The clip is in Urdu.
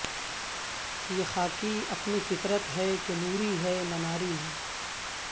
یہ خاکی اپنی فطرت ہے کہ نوری ہے نہ ناری ہے